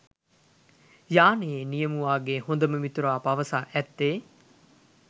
යානයේ නියමුවාගේ හොදම මිතුරා පවසා ඇත්තේ